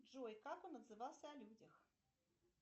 джой как он отзывался о людях